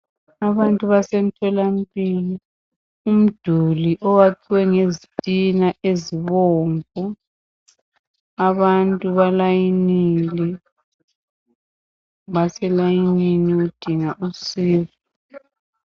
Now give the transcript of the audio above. abantu basemtholampilo umduli uyakhiwe ngezitina ezibomvu abantu ba layinile baselayinini ukudnga usizo